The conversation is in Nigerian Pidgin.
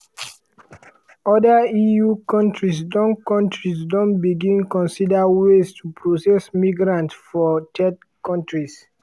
oda eu kontris don kontris don begin consider ways to process migrants for third kontris.